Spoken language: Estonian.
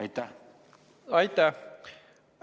Aitäh!